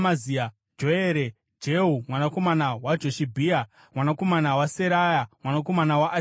Joere, Jehu mwanakomana waJoshibhia, mwanakomana waSeraya, mwanakomana waAsieri,